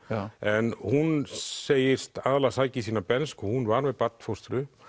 en hún segist aðallega sækja í sína bernsku hún var með barnfóstru